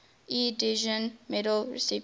ieee edison medal recipients